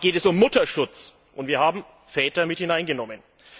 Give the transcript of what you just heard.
Hier geht es um Mutterschutz, und wir haben Väter mit hineingenommen.